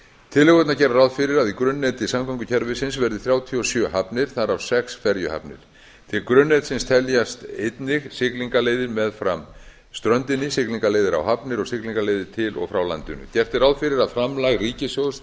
tillögurnar gera ráð fyrir að í grunnneti samgöngukerfisins verði þrjátíu og sjö hafnir þar af sex ferjuhafnir til grunnnetsins teljast einnig siglingaleiðir meðfram ströndinni siglingaleiðir á hafnir og siglingaleiðir til og frá landinu gert er ráð fyrir að framlag ríkissjóðs